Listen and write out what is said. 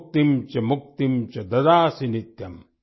भुक्तिम् च मुक्तिम् च ददासि नित्यम्